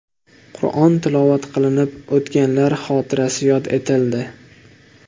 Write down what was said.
Qur’on tilovat qilinib o‘tganlar xotirasi yod etildi.